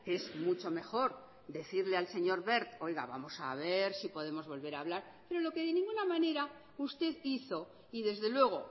que es mucho mejor decirle al señor wert oiga vamos a ver si podemos volver a hablar pero lo que de ninguna manera usted hizo y desde luego